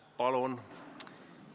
Palun!